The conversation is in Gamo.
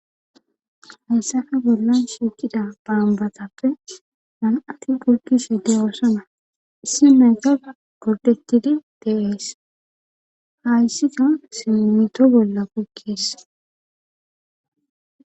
hayssafe bollan shiikida baambatappe man7atti kulkishhe de oosona issi meeta kordetidi teees hayssiko simmito bolla kukis